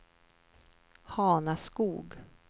Hanaskog